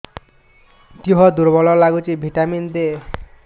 ଦିହ ଦୁର୍ବଳ ଲାଗୁଛି ଭିଟାମିନ ଦେ